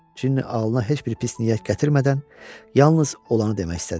Cini ağlına heç bir pis niyyət gətirmədən yalnız olanı demək istədi.